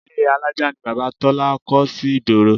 Ile alájà ni Bàbá Tọ́lá kọ́ sí ìgboro